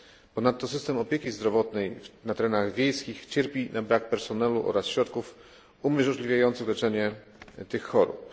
Ponadto system opieki zdrowotnej na terenach wiejskich cierpi na brak personelu oraz środków umożliwiających leczenie tych chorób.